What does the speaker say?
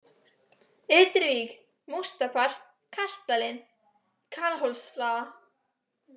Ytri-Vík, Móstapar, Kastalinn, Kallholtsflaga